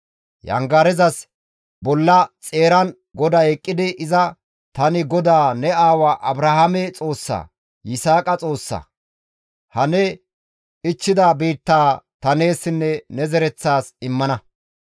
Yangarezas bolla xeeran GODAY eqqidi iza, «Tani GODAA ne aawa Abrahaame Xoossa, Yisaaqa Xoossa. Ha ne ichchida biittaa ta neessinne ne zereththas immana.